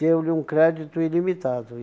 deu-lhe um crédito ilimitado.